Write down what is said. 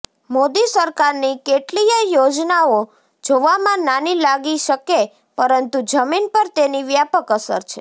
મોદી સરકારની કેટલીય યોજનાઓ જોવામાં નાની લાગી શકે પરંતુ જમીન પર તેની વ્યાપક અસર છે